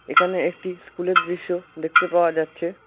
এখানে একটি স্কুলের দৃশ্য দেখতে পাওয়া যাচ্ছে।